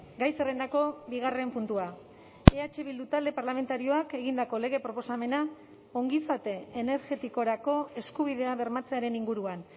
gai zerrendako bigarren puntua eh bildu talde parlamentarioak egindako lege proposamena ongizate energetikorako eskubidea bermatzearen inguruan